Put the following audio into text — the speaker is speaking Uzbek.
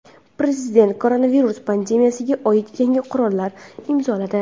Prezident koronavirus pandemiyasiga oid yangi qarorni imzoladi.